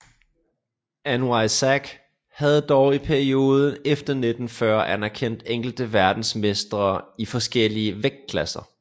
NYSAC havde dog i perioder efter 1940 anerkendt enkelte verdensmestre i forskellige vægtklasser